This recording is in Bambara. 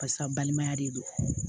Barisa balimaya de don